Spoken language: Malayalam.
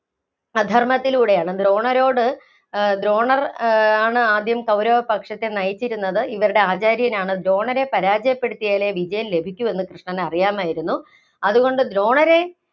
അധര്‍മ്മത്തിലൂടെയാണ്. ദ്രോണരോട് ദ്രോണർ ആഹ് ആണ് ആദ്യം കൗരവ പക്ഷത്തെ നയിച്ചിരുന്നത്, ഇവരുടെ ആചാര്യനാണ്. ദ്രോണരെ പരാജയപ്പെടുത്തിയാലെ വിജയം ലഭിക്കൂ എന്ന് കൃഷ്ണന് അറിയാമായിരുന്നു. അതുകൊണ്ട് ദ്രോണരെ